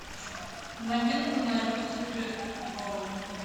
новинка на люксери ворлд